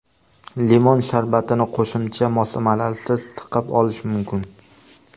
Limon sharbatini qo‘shimcha moslamalarsiz siqib olish mumkin.